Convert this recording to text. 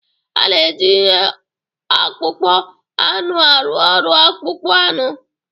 A na-eji ihe akpụkpọ anụ arụ ọrụ akpụkpọ anụ.